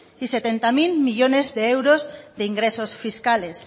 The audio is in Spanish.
y setenta mil millónes de euros de ingresos fiscales